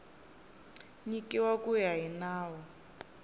nyikiwa ku ya hi nawu